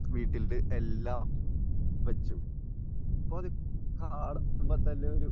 വീട്ടിലത്തെ എല്ലാ വെച്ചു. ഇപ്പോൾ അത് കാണുമ്പോൾ തന്നെ ഒരു